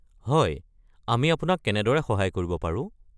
হয়। আমি আপোনাক কেনেদৰে সহায় কৰিব পাৰোঁ?